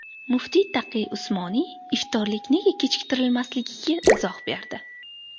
Muftiy Taqiy Usmoniy iftorlik nega kechiktirilmasligiga izoh berdi .